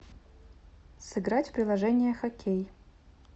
сыграть в приложение хоккей